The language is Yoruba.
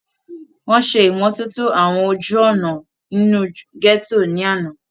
wọ́n ṣe ìmọ́tótó àwọn ojú òná inú gẹ́tò ní àná